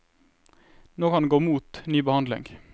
Nå kan det gå mot ny behandling.